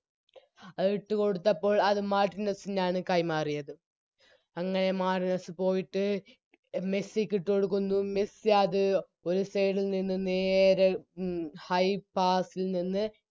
അ ഇട്ടുകൊടുത്തപ്പോൾ അത് മാർട്ടിനെസ്സിനാണ് കൈമാറിയത് അങ്ങനെ മാർട്ടിനെസ്സ് പോയിട്ട് മെസ്സിക്കിട്ടോടുക്കുന്നു മെസ്സി അത് ഒര് Side ൽ നിന്നും നേരെ മ് High pass ൽ നിന്ന്